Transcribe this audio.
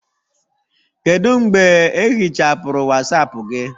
Kedu mgbe ehichapụrụ Wasapu gị?